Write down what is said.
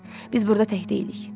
Biz burda tək deyilik.